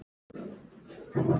Ég er að fara heim.